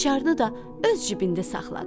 Açarını da öz cibində saxladı.